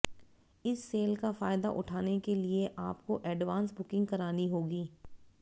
इस सेल का फायदा उठाने के लिए आपको एडवांस बुकिंग करानी होगी